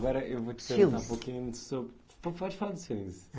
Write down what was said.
Agora eu vou te Filmes Perguntar um pouquinho sobre... Po pode falar dos filmes.